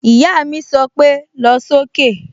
Ìyá mi sọ pé "lọ sókè"